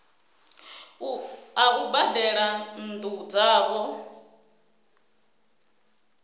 a u badela nnu dzavho